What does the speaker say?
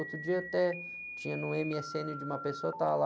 Outro dia até tinha no eme-ésse-êne de uma pessoa, estava lá...